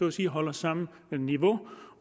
at sige holder samme niveau